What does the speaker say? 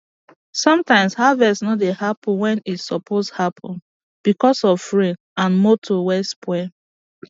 sometimes harvest no dey happen wen e suppose happen becos of rain and moto wey spoil